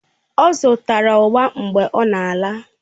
Ọ zụtara ugba mgbe ọ na-ala